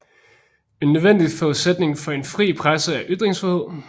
En nødvendig forudsætning for en fri presse er ytringsfrihed